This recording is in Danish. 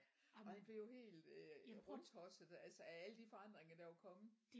Og han fik jo helt rundtosset altså af alle de forandringer der var kommet